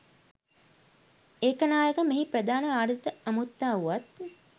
ඒකනායක මෙහි ප්‍රධාන ආරාධිත අමුත්තා වුවත්